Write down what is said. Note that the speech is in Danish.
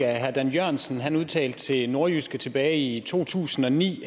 herre dan jørgensen udtalte til nordjyske tilbage i 2009